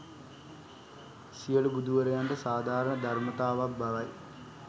සියලු බුදුවරයන්ට සාධාරණ ධර්මතාවක් බවයි.